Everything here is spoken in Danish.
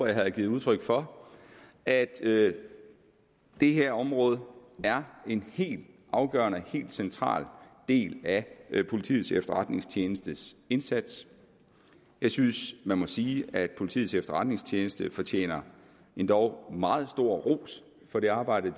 jeg har givet udtryk for at det det her område er en helt afgørende og helt central del af politiets efterretningstjenestes indsats jeg synes man må sige at politiets efterretningstjeneste fortjener endog meget stor ros for det arbejde